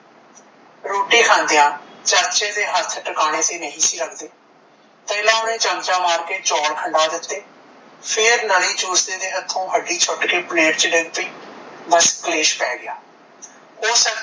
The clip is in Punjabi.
ਰੋਟੀ ਖਾਂਦਿਆ ਚਾਚੇ ਦੇ ਹੱਥ ਟਿਕਾਣੇ ਤੇ ਨਹੀਂ ਸੀ ਲੱਗਦੇ ਪਹਿਲਾਂ ਓਹਨੇ ਚਮਚਾ ਮਾਰ ਕੇ ਚੌਲ ਖਿੰਡਾ ਦਿੱਤੇ ਫੇਰ ਨਲੀ ਚੂਸਦੇ ਦੇ ਹੱਥੋਂ ਹੱਡੀ ਛੁੱਟ ਕੇ ਪਲੇਟ ਚ ਡਿੱਗ ਪਈ ਬੱਸ ਕਲੇਸ਼ ਪੈ ਗਿਆ